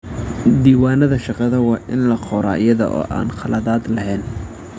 Diiwaanada shaqada waa in la qoraa iyada oo aan khaladaad lahayn.